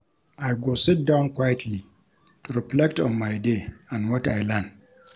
I go sit down quietly to reflect on my day and what I learn.